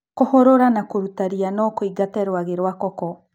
Kũhũrũra na kũruta ria nokũingate rwagĩ rwa koko.